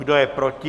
Kdo je proti?